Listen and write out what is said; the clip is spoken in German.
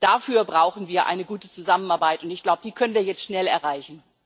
Dafür brauchen wir eine gute Zusammenarbeit, und ich glaube, die können wir jetzt schnell erreichen.